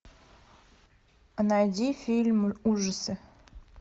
найди фильм ужасы